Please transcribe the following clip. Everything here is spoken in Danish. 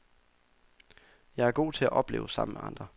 Jeg er god til at opleve sammen med andre.